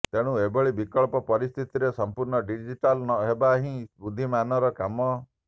ତେଣୁ ଏଭଳି ବିକଟ ପରିସ୍ଥିତିରେ ସଂପୂର୍ଣ୍ଣ ଡିଜିଟାଲ୍ ହେବା ହିଁ ବୁଦ୍ଧିମାନର କାମ